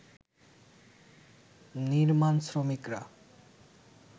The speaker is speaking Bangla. নির্মাণ শ্রমিকরা